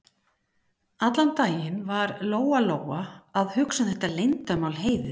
Allan daginn var Lóa-Lóa að hugsa um þetta leyndarmál Heiðu.